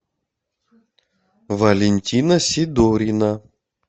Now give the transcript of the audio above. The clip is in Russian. валентина сидорина